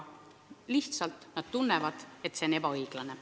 Perearstid tunnevad, et see on ebaõiglane.